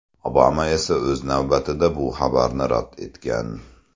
Obama esa o‘z navbatida bu xabarlarni rad etgan.